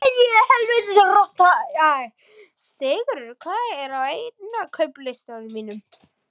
Sigtryggur, hvað er á innkaupalistanum mínum?